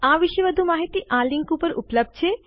આ વિશે વધુ માહિતી આ લીંક ઉપર ઉપલબ્ધ છે